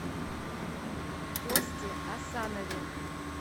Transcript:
косте асанове